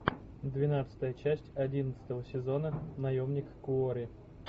двенадцатая часть одиннадцатого сезона наемник куорри